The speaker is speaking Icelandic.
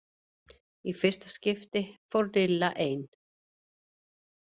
Í fyrsta skipti fór Lilla ein.